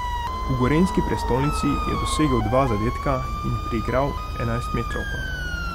V gorenjski prestolnici je dosegel dva zadetka in priigral enajstmetrovko.